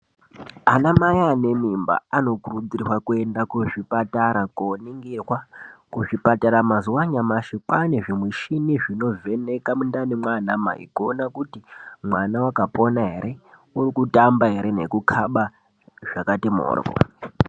Anamai anemimba anokurudzirwa kuenda kuzvipatara koningirwa. Kuzvipatara mazuva anyamashi kwaane zvimishini zvinovheneka mundani mwaanamai, kuon kuti mwana wakapona here, urikutamba here, kukhaba zvakati mhoryo.